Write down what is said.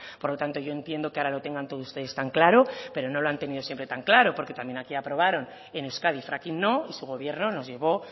por lo tanto yo entiendo que ahora lo tengan todo ustedes tan claro pero no lo han tenido siempre tan claro porque también aquí aprobaron en euskadi fracking no y su gobierno nos llevó